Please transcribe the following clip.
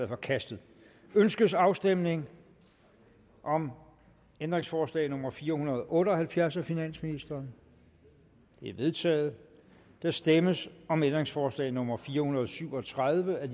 forkastet ønskes afstemning om ændringsforslag nummer fire hundrede og otte og halvfjerds af finansministeren det er vedtaget der stemmes om ændringsforslag nummer fire hundrede og syv og tredive af